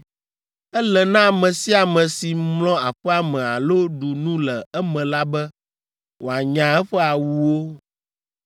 Ele na ame sia ame si mlɔ aƒea me alo ɖu nu le eme la be wòanya eƒe awuwo.